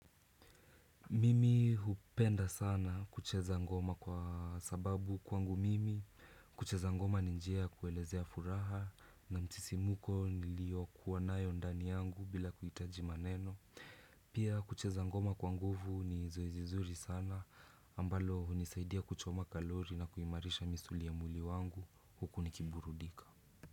Mimi hupenda sana kucheza ngoma kwa sababu kwangu mimi kucheza ngoma ni njia ya kuelezea furaha na msisimuko niliokuwa nayo ndani yangu bila kuhitaji maneno Pia kucheza ngoma kwa nguvu ni zoezi nzuri sana ambalo hunisaidia kuchoma kalori na kuimarisha misuli ya mwili wangu huku nikiburudika.